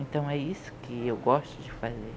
Então é isso que eu gosto de fazer.